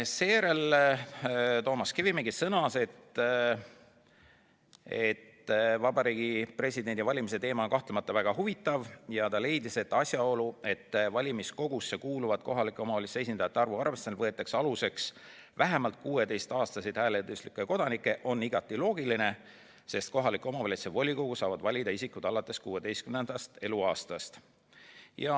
Seejärel sõnas Toomas Kivimägi, et Vabariigi Presidendi valimise teema on kahtlemata väga huvitav, ja leidis, et asjaolu, et valimiskogusse kuuluvate kohaliku omavalitsuse esindajate arvu arvestamisel võetakse aluseks vähemalt 16-aastased hääleõiguslikud kodanikud, on igati loogiline, sest kohaliku omavalitsuse volikogu saavad valida isikud alates 16. eluaastast.